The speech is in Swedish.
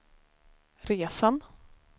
resan